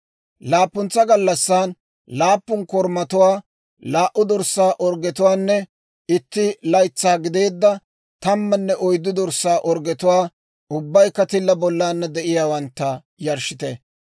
« ‹Laappuntsa gallassan, laappun korumatuwaa, laa"u dorssaa orggetuwaanne itti laytsaa gideedda tammanne oyddu dorssaa orggetuwaa, ubbaykka tilla bollana de'iyaawantta, yarshshite.